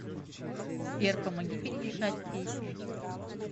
сбер помоги перемешать песни